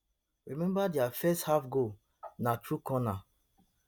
remember dia first half goal na thru corner